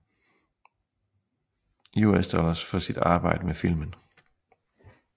USD for sit arbejde med filmen